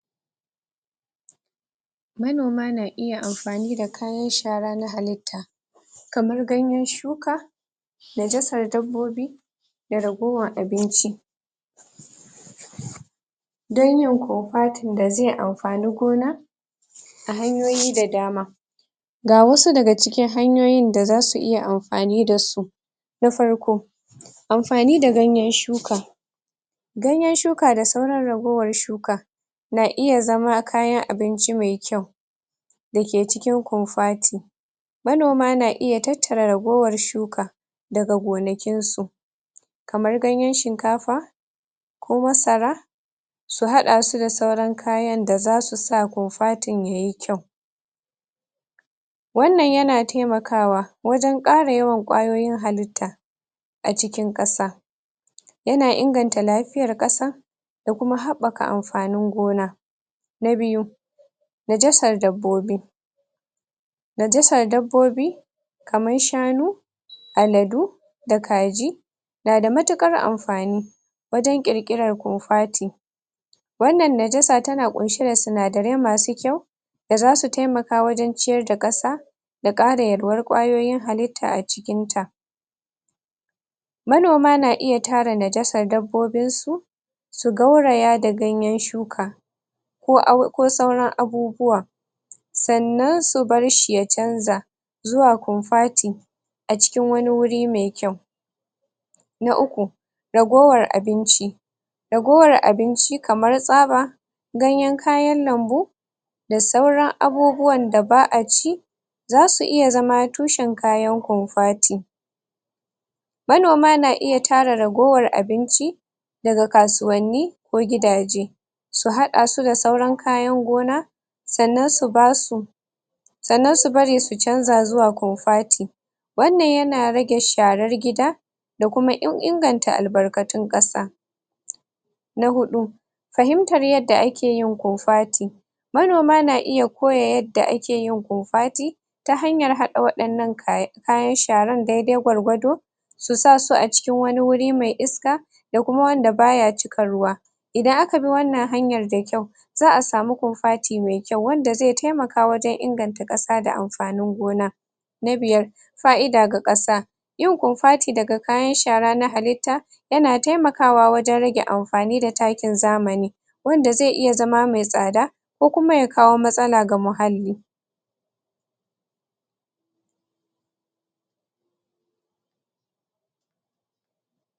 Manoma na iya amfani da kayan shara na halitta kamar ganyen shuka najasar dabbobi da ragowan abinci dan yin kofati da zai amfani gona a hanyoyi da dama ga wasu daga cikin hanyoyin da zasu iya amfani da su na farko, amfani da ganyen shuka ganyen shuka da sauran ragowar shuka na iya zama kayan abinci mai kyau da ke cikin kofati manoma na iya tattara ragowar shuka daga gonakin su kamar ganyen shinkafa ko masara su haɗa su da sauran kayan da zasu sa kofatin yayi kyau wannan yana taimakawa wajen ƙara yawan ƙwayoyin halitta a cikin ƙasa yana inganta lafiyar kasa da kuma haɓɓaka amfanin gona. na biyu, najasar dabbobi najasar dabbobi kaman shanu aladu da kaji na da matuƙar amfani wajen ƙirƙirar kofati wannan najasa tana ƙunshe da sinadarai masu kyau da zasu taimaka wajen ciyar da ƙasa da ƙara yalwar ƙwayoyin halitta a cikin ta manoma na iya tara najasar dabbobin su su gauraya da ganyen shuka ko sauran abubuwa sannan su bar shi ya canza zuwa konfati a cikin wani wuri me kyau na uku, ragowar abinci ragowar abinci kamar tsaba ganyen kayan lambu da sauran abubuwan da ba'a ci zasu iya zama tushen kayan konfati manoma na iya tara ragowar abinci daga kasuwanni ko gidaje su haɗa su da sauran kayan gona sannan su ba su sannan su bari su canza zuwa konfati wannan yana rage sharar gida da kuma inganta albarkatun ƙasa na huɗu fahimtar yadda ake yin kofati manoma na iya koya yadda ake yin kofati ta hanyar haɗa waƴannan kayan sharan daidai gwargwado su sa su a cikin wani wuri me iska da kuma wanda baya cika ruwa idan aka bi wannan hanyar da kyau za'a samu kofati me kyau wanda zai taimaka wajen inganta ƙasa da amfanin gona na biyar, fa'ida ga ƙasa yin kofati daga kayan shara na halitta yana taimakawa wajen rage amfani da takin zamani wanda zai iya zama me tsada ko kuma ya kawo matsala ga muhalli.